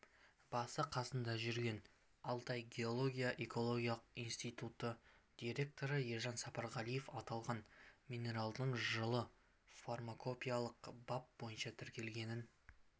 басы-қасында жүрген алтай геология-экологиялық институты директоры ержан сапарғалиев аталған минералдың жылы фармакопеялық бап бойынша тіркелгенін